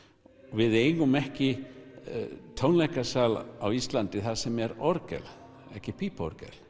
við eigum ekki tónleikasal á Íslandi þar sem er orgel ekki pípuorgel